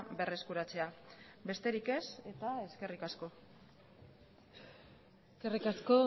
berreskuratzea besterik ez eta eskerrik asko eskerrik asko